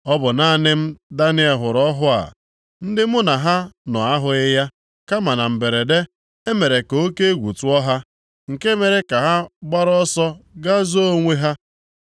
Ọ bụ naanị m Daniel hụrụ ọhụ a. Ndị mụ na ha nọ ahụghị ya, kama na mberede, e mere ka oke egwu tụọ ha, nke mere ka ha gbara ọsọ gaa zoo onwe ha.